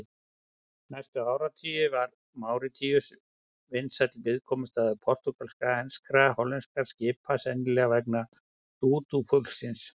Næstu áratugi var Máritíus vinsæll viðkomustaður portúgalskra, enskra og hollenskra skipa, sennilega vegna dúdúfuglsins.